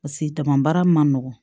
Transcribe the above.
Paseke jama baara ma nɔgɔ